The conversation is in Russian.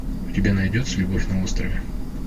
у тебя найдется любовь на острове